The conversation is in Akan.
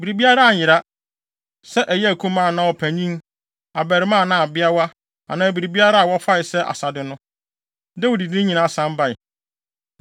Biribiara anyera; sɛ ɛyɛ akumaa anaa ɔpanyin, abarimaa anaa abeawa anaa biribiara a wɔfae sɛ asade no, Dawid de ne nyinaa san bae.